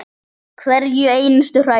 Hverja einustu hræðu!